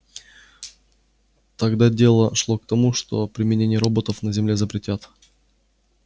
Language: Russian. тогда дело шло к тому что применение роботов на земле запретят